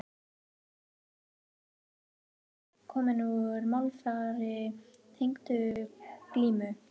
Orðin undirtök og yfirtök eru bæði komin úr málfari tengdu glímu.